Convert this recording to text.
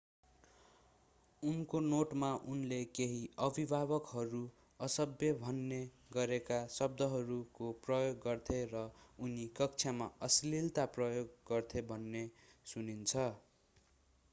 उनको नोटमा उनले केही अभिभावकहरू असभ्य मान्ने गरेका शब्दहरूको प्रयोग गर्थे र उनी कक्षामा अश्‍लिलता प्रयोग गर्थे भन्ने सुनिन्छ।